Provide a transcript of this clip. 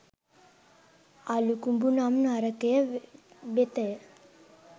අළුකුඹු නම් නරකය වෙතය.